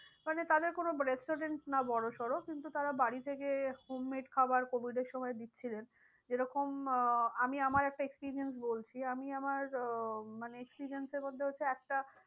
মানে তাদের কোনো restaurants না বড়ো সরো কিন্তু তারা বাড়ি থেকে home made খাবার covid এর সময় দিচ্ছিলেন। যে রকম আহ আমি আমার একটা experience বলছি আমি আমার আহ মানে experience এর মধ্যে হচ্ছে একটা